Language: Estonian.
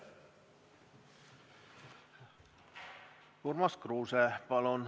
Urmas Kruuse, palun!